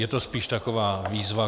Je to spíš taková výzva.